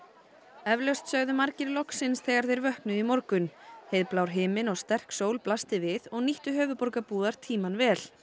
eflaust sögðu margir loksins þegar þeir vöknuðu í morgun himinn og sterk sól blasti við og nýttu höfuðborgarbúar tímann vel